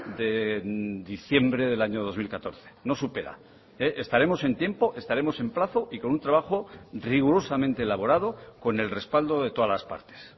de diciembre del año dos mil catorce no supera estaremos en tiempo estaremos en plazo y con un trabajo rigurosamente elaborado con el respaldo de todas las partes